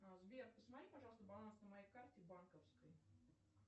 сбер посмотри пожалуйста баланс на моей карте банковской